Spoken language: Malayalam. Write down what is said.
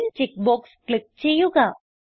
അലിഗ്ൻ ചെക്ക് ബോക്സ് ക്ലിക്ക് ചെയ്യുക